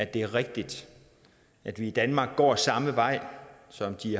det er rigtigt at vi i danmark går samme vej som de